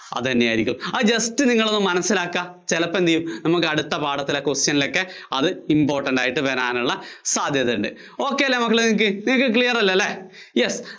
അതുതന്നെയായിരിക്കും. ആ just നിങ്ങളൊന്നു മനസ്സിലാക്കാ, ചിലപ്പോ എന്തു ചെയ്യും നമുക്ക് അടുത്ത പാഠത്തിലെ question ലൊക്കെ അത് important ആയിട്ട് വരാനുള്ള സാധ്യത ഉണ്ട്. ok അല്ലേ മക്കളേ നിങ്ങള്‍ക്ക്, നിങ്ങള്‍ക്ക് clear അല്ലേ?